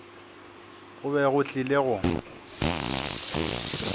go be go tlile go